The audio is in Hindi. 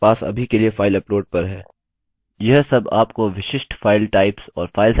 यही सब मेरे पास अभी के लिए फाइल अपलोड पर है